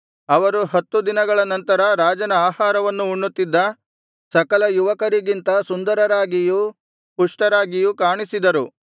ಅವರು ಹತ್ತು ದಿನಗಳ ನಂತರ ರಾಜನ ಆಹಾರವನ್ನು ಉಣ್ಣುತ್ತಿದ್ದ ಸಕಲ ಯುವಕರಿಗಿಂತ ಸುಂದರರಾಗಿಯೂ ಪುಷ್ಟರಾಗಿಯೂ ಕಾಣಿಸಿದರು